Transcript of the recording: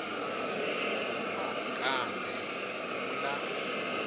kuba kambe kula